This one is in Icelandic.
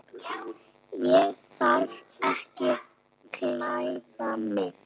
Ég þarf að klæða mig.